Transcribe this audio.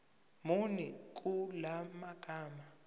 muni kula magama